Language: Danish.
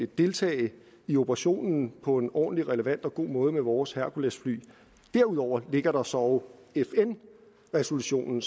deltage i operationen på en ordentlig relevant og god måde med vores herculesfly derudover ligger der så fn resolutionen